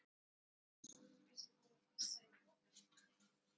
Ég er hræddur um að Skundi sé búinn að pissa í pokann þinn.